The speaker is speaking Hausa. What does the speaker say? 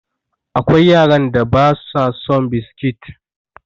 Akwai yaran da ba su son biskit.